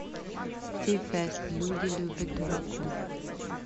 ти фест люди любят дураков